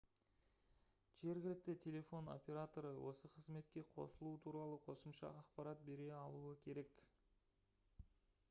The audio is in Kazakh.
жергілікті телефон операторы осы қызметке қосылу туралы қосымша ақпарат бере алуы керек